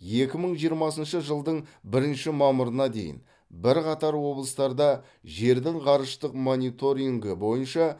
екі мың жиырмасыншы жылдың бірінші мамырына дейін бірқатар облыстарда жердің ғарыштық мониторингі бойынша